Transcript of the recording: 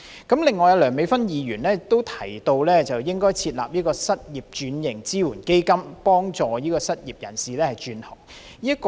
此外，梁美芬議員提到應該設立失業轉型支援基金，幫助失業人士轉行。